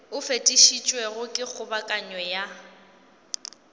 o fetišitšwego ke kgobokano ya